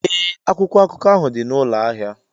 Ee, akwụkwọ akụkọ ahụ dị na ụlọ ahịa.